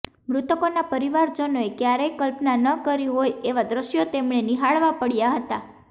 મૃતકોના પરિવારજનોએ ક્યારેય કલ્પના ન કરી હોય એવાં દૃશ્યો તેમણે નિહાળવાં પડ્યાં હતાં